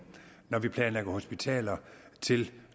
når vi planlægger hospitaler til